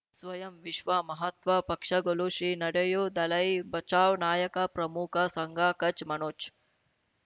ಸ್ವಯಂ ವಿಶ್ವ ಮಹಾತ್ಮ ಪಕ್ಷಗಳು ಶ್ರೀ ನಡೆಯೂ ದಲೈ ಬಚೌ ನಾಯಕ ಪ್ರಮುಖ ಸಂಘ ಕಚ್ ಮನೋಜ್